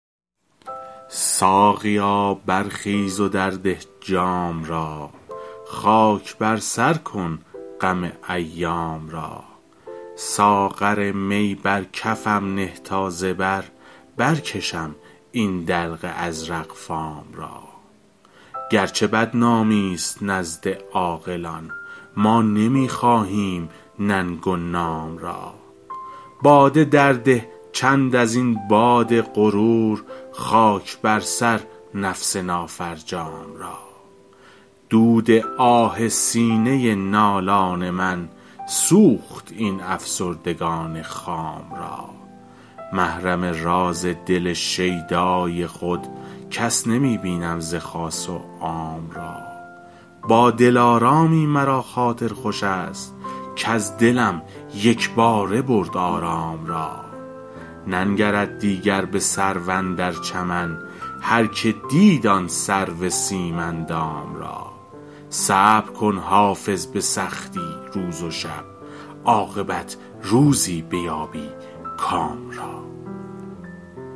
ساقیا برخیز و درده جام را خاک بر سر کن غم ایام را ساغر می بر کفم نه تا ز بر برکشم این دلق ازرق فام را گرچه بدنامی ست نزد عاقلان ما نمی خواهیم ننگ و نام را باده درده چند از این باد غرور خاک بر سر نفس نافرجام را دود آه سینه نالان من سوخت این افسردگان خام را محرم راز دل شیدای خود کس نمی بینم ز خاص و عام را با دلارامی مرا خاطر خوش است کز دلم یک باره برد آرام را ننگرد دیگر به سرو اندر چمن هرکه دید آن سرو سیم اندام را صبر کن حافظ به سختی روز و شب عاقبت روزی بیابی کام را